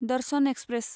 Darshan express